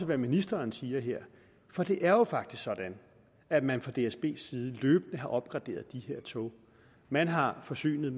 hvad ministeren siger her for det er jo faktisk sådan at man fra dsbs side løbende har opgraderet de her tog man har forsynet